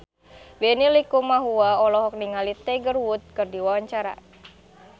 Benny Likumahua olohok ningali Tiger Wood keur diwawancara